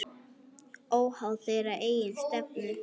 Óháð þeirra eigin stefnu.